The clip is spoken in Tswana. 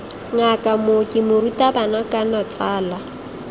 ngaka mooki morutabana kana tsala